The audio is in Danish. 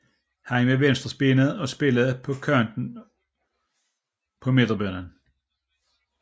Han var venstrebenet og spillede på kanten på midtbanen